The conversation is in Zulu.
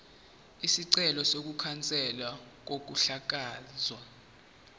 isicelo sokukhanselwa kokuhlakazwa